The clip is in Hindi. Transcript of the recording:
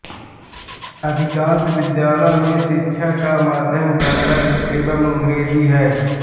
अधिकांश विद्यालयों में शिक्षा का माध्यम कन्नड़ एवं अंग्रेज़ी है